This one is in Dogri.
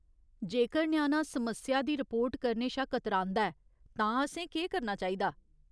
जेकर ञ्याणा समस्या दी रिपोर्ट करने शा कतरांदा ऐ तां असें केह् करना चाहिदा ?